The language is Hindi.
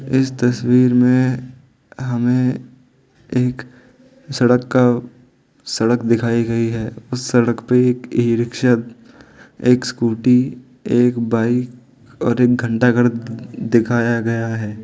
इस तस्वीर में हमें एक सड़क का सड़क दिखाई गई है उस सड़क पे एक ई रिक्शा एक स्कूटी एक बाइक और एक घंटा घर दिखाया गया है।